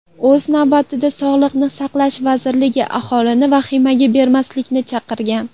O‘z navbatida Sog‘liqni saqlash vazirligi aholini vahimaga berilmaslikni chaqirgan.